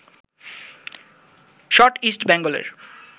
shot East বেঙ্গলের